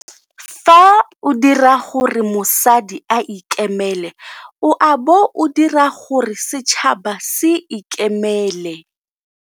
Fa o dira gore mosadi a ikemele o a bo o dira gore setšhaba se ikemele.